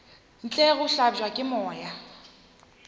ntle go hlabja ke moya